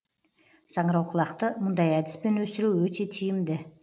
саңырауқұлақты мұндай әдіспен өсіру өте тиімді